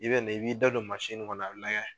I bɛ na i b'i da don kɔnɔ na la a bɛ layɛ.